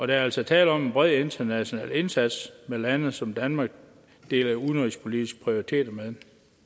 der er altså tale om en bred international indsats med lande som danmark deler udenrigspolitiske prioriteter med